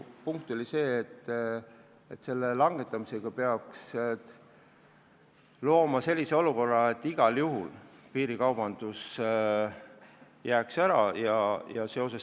Teine lähtekoht oli, et selle langetamisega peaks looma sellise olukorra, et igal juhul piirikaubandus jääb ära.